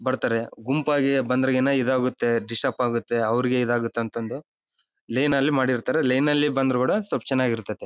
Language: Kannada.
ಗುಂಪುಯಾಗಿ ಬಂದ್ರೆ ಗಿನ ಈದ್ ಆಗುತ್ತೆ ಡಿಸ್ಟರ್ಬ್ ಆಗುತ್ತೆ ಅವರಿಗೆ ಈದ್ ಆಗುತ್ತೆ ಅಂತ ಅಂದು ಲೇನ್ ಅಲ್ಲಿ ಮಾಡಿರ್ತಾರೆ ಲೇನ್ ಅಲ್ಲಿ ಬಂದ್ರು ಕೂಡ ಸ್ವಲ್ಪ ಚೆನ್ನಾಗಿರ್ತೈತಿ.